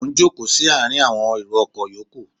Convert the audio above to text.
Mo ń jókòó sí àárín awọn èrò ọkọ̀ ìyókù.